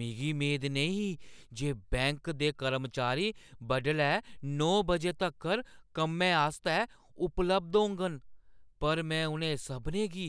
मिगी मेद नेईं ही जे बैंक दे कर्मचारी बडलै नौ बजे तक्कर कम्मै आस्तै उपलब्ध होङन, पर मैं उ'नें सभनें गी